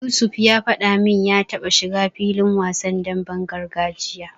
Yusuf ya faɗa min ya taba shiga filin wasan demben gargajiya.